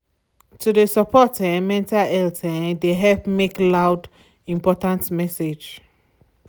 to de support um mental health um de um help make lound important message.